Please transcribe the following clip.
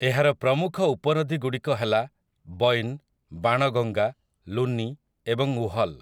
ଏହାର ପ୍ରମୁଖ ଉପନଦୀଗୁଡ଼ିକ ହେଲା ବୈନ୍, ବାଣଗଙ୍ଗା, ଲୁନୀ, ଏବଂ ଉହଲ୍ ।